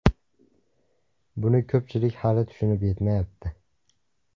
Buni ko‘pchilik hali tushunib yetmayapti.